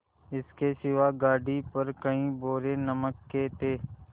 इसके सिवा गाड़ी पर कई बोरे नमक के थे